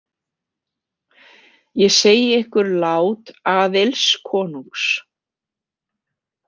Ég segi ykkur lát Aðils konungs.